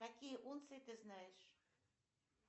какие унции ты знаешь